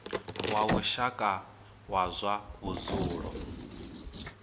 wa lushaka wa zwa vhudzulo